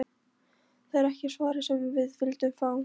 Það er ekki svarið sem þið vilduð fá.